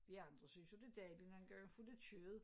Vi andre synes jo det dejligt nogen gange at få lidt kød